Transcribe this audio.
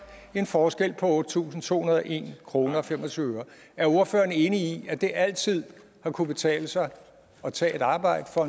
en forskel på otte tusind to hundrede og en kroner og fem og tyve øre er ordføreren enig i at det altid har kunnet betale sig at tage et arbejde for